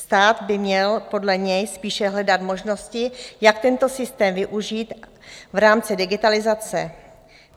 Stát by měl podle něj spíše hledat možnosti, jak tento systém využít v rámci digitalizace.